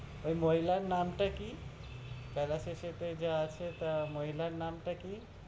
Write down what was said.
ওই মহিলার নামটা কি? বেলা শেষেতে যে আছে। তা মহিলার নামটা কি?